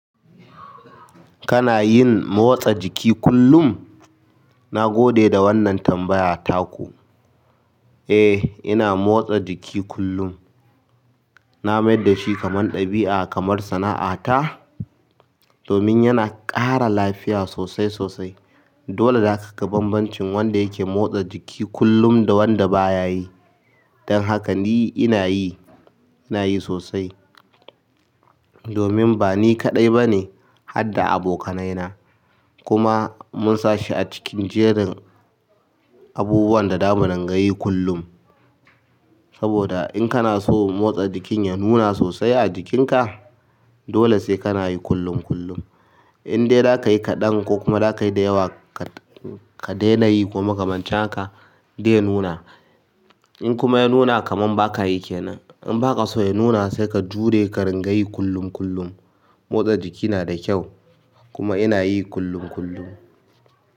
Kana yin motsa jiki kullum? Na gode da wannan tambaya ta ku. Eh ina motsa jiki kullum. Na mai yad da shi kaman dabia kamar sana'a ta domin yana ƙara lafiya sosai sosai. Dole zaka ga banbancin wanda yake motsa jiki kullum da wanda baya yi. Don haka ni inayi inayi sosai domin ba ni kaɗai bane hadda abokanai na. Kuma mun sa shi a cikin jerin abubuwan da zamu dinga yi kullum saboda in kanaso motsa jikin ya nuna sosai a jikin ka dole sai kana yi kullum kullum. In dai dakayi kaɗan ko kuma dakayi da yawa ka daina yi koma kamancin haka dai nuna. In kuma ya nuna kamar baka yi kenan. In ba ka so ya nuna sai ka jure ka ringa yi kullum kullum. Motsa jiki nada kyau kuma ina yi kullum kullum.